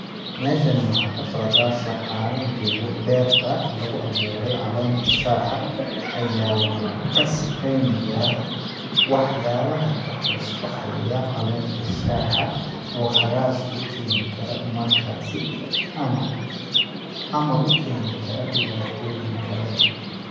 Meeshani waxaa ka socdaa shaqaala joogo beerta lagu awuuray caleenta shaaha ,ayaa waxu ka sifeynayaa wax yaalaha ka hoos baxaya caleenta shaaha ,oo hagaas u keeni kara markaasi ama, ama u keeni kara dhibaatooyin kale .